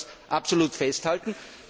Ich möchte das absolut festhalten.